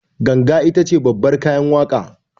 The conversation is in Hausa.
Ganga itace babbar kayan waƙa